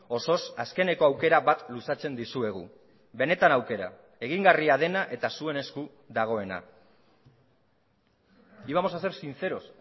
osoz azkeneko aukera bat luzatzen dizuegu benetan aukera egingarria dena eta zuen esku dagoena íbamos a ser sinceros